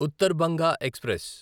Uttar Banga express